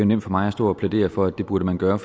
nemt for mig at stå og plædere for at det burde man gøre